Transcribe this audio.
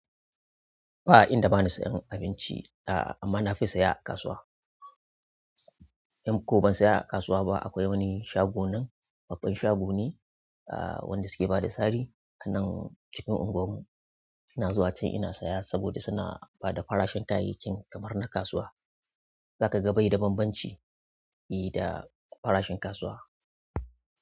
Ba inda ba na sayan abinci, a amma na fi saya a kasuwa. In ko ban siya a kasuwa ba akwai wani shago nan, babban shago ne wanda suke bada sari a nan cikin unguwar mu. Ina zuwa can ina saya saboda suna bada farashin kayayyakin kamar na kasuwa. Za ka ga bai da bambanci da farashin kasuwa.